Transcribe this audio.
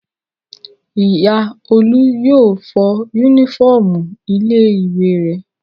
Ìyá Olú yóò fọ únífọ́ọ́mù ilé-ìwé rẹ̀.